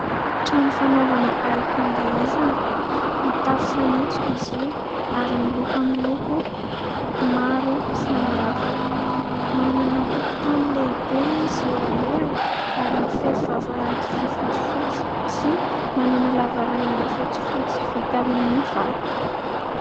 Trano fanaovana alim-pandihizana mitafo fanitso izy io ary miloko amin'ny loko maro samihafa, manana tokontany lehibe izy eo alohany ary mifefy vavahady vy fotsifotsy sy manana lavarangana fotsifotsy vita amin'ny vato.